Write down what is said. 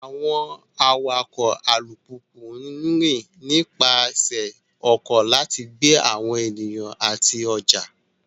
Àwọn awakọ̀ alùpùpù ń rìn nípasẹ̀ ọkọ̀ láti gbé àwọn ènìyàn àti ọjà.